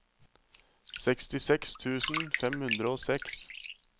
sekstiseks tusen fem hundre og seks